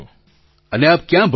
પ્રધાનમંત્રી અને આપ ક્યાં ભણો છો